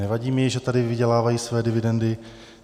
Nevadí mi, že tady vydělávají své dividendy.